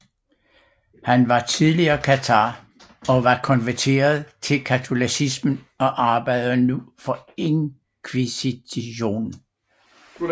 Han var tidligere kathar og var konverteret til katolicismen og arbejdede nu for inkvisitionen